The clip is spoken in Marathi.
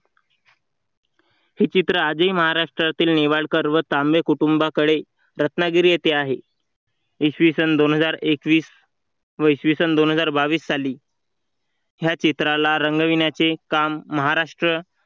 हे चित्र आजही महाराष्ट्रातील निवडकर व तांबे कुटुंबाकडे रत्नागिरी येथे आहे. इसवी सन दोन हजार एकवीस व इसवी सन दोन हजार बावीस साली या चित्राला रंगविण्याचे काम महाराष्ट्र